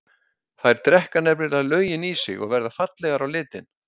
Þær drekka nefnilega löginn í sig og verða fallegar á litinn.